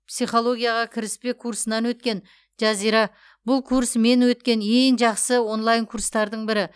психологияға кіріспе курсынан өткен жазира бұл курс мен өткен ең жақсы онлайн курстардың бірі